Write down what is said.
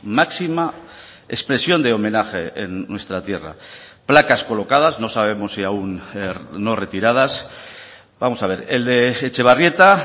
máxima expresión de homenaje en nuestra tierra placas colocadas no sabemos si aún no retiradas vamos a ver el de etxebarrieta